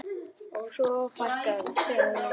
Og svo fækkaði þeim.